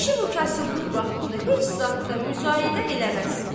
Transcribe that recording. Kişi bu kasıblıq vaxtında heç zad da müzayidə eləməz.